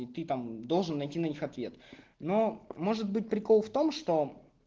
и ты там должен найти на них ответ но может быть прикол в том что